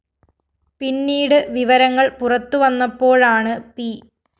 പിന്നീട് വിവരങ്ങള്‍ പുറത്തുവന്നപ്പോഴാണ് പി